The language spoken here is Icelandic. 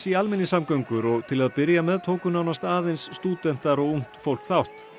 í almenningssamgöngur og til að byrja með tóku nánast aðeins stúdentar og ungt fólk þátt